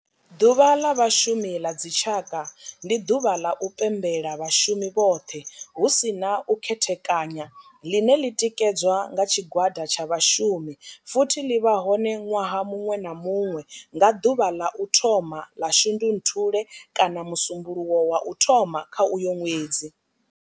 Ḓuvha ḽa Vhashumi ḽa dzi tshaka, ndi duvha ḽa u pembela vhashumi vhothe hu si na u khethekanya ḽine ḽi tikedzwa nga tshigwada tsha vhashumi futhi ḽi vha hone nwaha munwe na munwe nga duvha ḽa u thoma 1 ḽa Shundunthule kana musumbulowo wa u thoma kha uyo nwedzi.